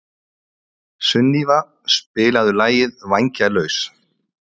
Sunníva, spilaðu lagið „Vængjalaus“.